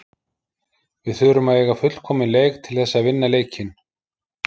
Við þurfum að eiga fullkominn leik til þess að vinna leikinn.